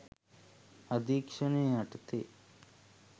අධීක්ෂණය යටතේ